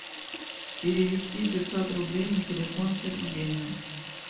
перевести пятьсот рублей на телефон сергею